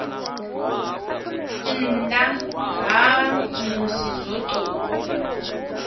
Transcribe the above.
nnda ha musi zwo tou